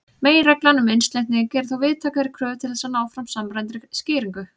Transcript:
Meginreglan um einsleitni gerir þó víðtækari kröfur til þess að ná fram samræmdri skýringu.